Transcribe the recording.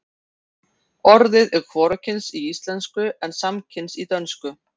orðið er hvorugkyns í íslensku en samkyns í dönsku